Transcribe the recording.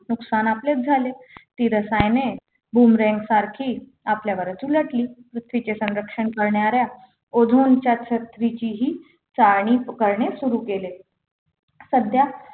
नुकसान आपले झाले ही रसायने Boomerang सारखी आपल्यावरच उलटली तर तुझ्या संरक्षण करणाऱ्या ओझोनच्या छत्रीची ही चाळणी करणे सुरू केले सध्या